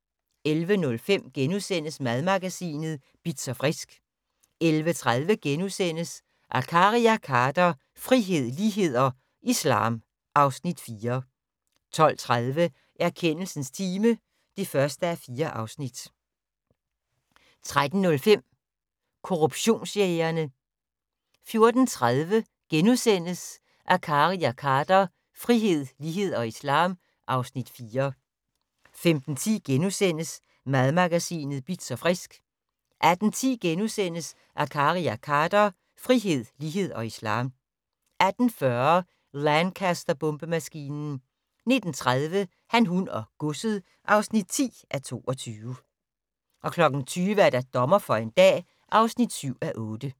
11:05: Madmagasinet Bitz & Frisk * 11:30: Akkari og Khader - frihed, lighed og islam (Afs. 4)* 12:30: Erkendelsens time (1:4) 13:05: Korruptionsjægerne 14:30: Akkari og Khader - frihed, lighed og islam (Afs. 4)* 15:10: Madmagasinet Bitz & Frisk * 18:10: Akkari og Khader - frihed, lighed og islam * 18:40: Lancaster-bombemaskinen 19:30: Han, hun og godset (10:22) 20:00: Dommer for en dag (7:8)